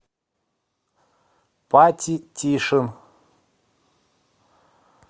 пати тишин